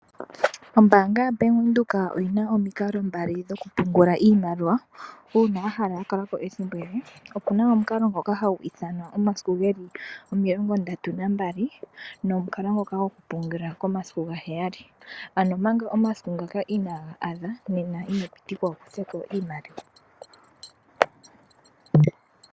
Ombaanga ya Bank Windhoek oyina omikalo mbali dhokupungula iimaliwa. Uuna wahala yakalako ethimbo ele opuna omukalo ngoka hagu ithanwa omasiku geli omilongo ndatu nambali nomukalo ngoka gokupungula omasiku gaheyali. Ano omanga omasiku ngaka inaagaadha nena inopitikwa wukutheko iimaliwa.